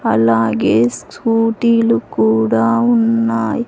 అలాగే స్కూటీ లు కూడా ఉన్నాయ్.